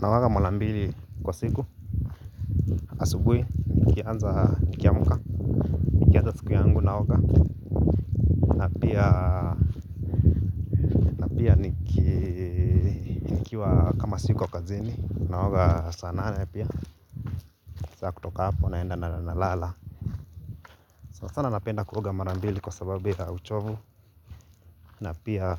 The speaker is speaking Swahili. Naoga marambili kwa siku, asubuhi, nikianza nikiamka, nikianza siku yangu na naoga. Na pia nikiwa kama siko kazini, naoga saana ane pia. Sasa kutoka hapo, naenda na lala. Sanasana napenda kuoga marambili kwa sababuya uchovu. Na pia